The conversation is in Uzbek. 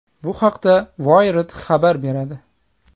Bu haqda Wired xabar beradi.